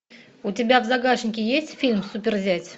у тебя в загашнике есть фильм суперзять